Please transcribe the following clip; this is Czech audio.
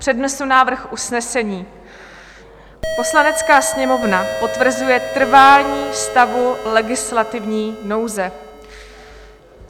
Přednesu návrh usnesení: "Poslanecká sněmovna potvrzuje trvání stavu legislativní nouze."